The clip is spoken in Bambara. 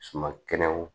Suman kɛnɛw